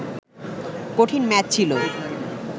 কঠিন ম্যাচ ছিল